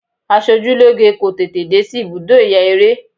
Asojúlóge kò tètè dé sí ibùdó ìyaeré.